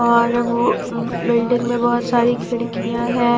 और वो बिल्डिंग में बहुत सारी खिड़कियां हैं।